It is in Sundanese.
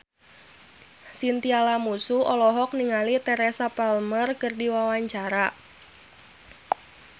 Chintya Lamusu olohok ningali Teresa Palmer keur diwawancara